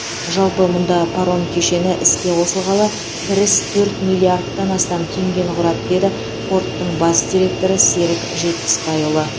жалпы мұнда паром кешені іске қосылғалы кіріс төрт миллиардтан астам теңгені құрады деді порттың бас директоры серік жетпісбайұлы